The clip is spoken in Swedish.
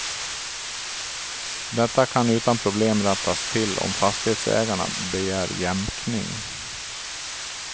Detta kan utan problem rättas till om fastighetsägarna begär jämkning.